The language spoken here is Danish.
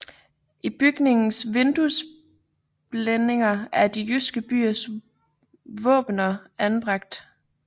I bygningens vinduesblændinger er de jyske byers våbener anbragte